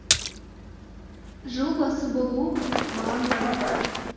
жыл басы болу маған лайық